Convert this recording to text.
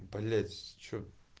блять что